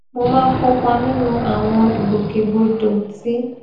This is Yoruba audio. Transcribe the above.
mo máa ń kópa nínú àwọn ìgbòkègbodò tí